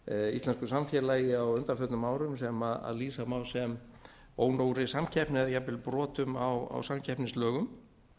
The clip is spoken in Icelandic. íslensku samfélagi á undanförnum árum sem lýsa má sem ónógri samkeppni eða jafnvel brotum á samkeppnislögum